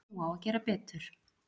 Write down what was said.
Nú á að gera betur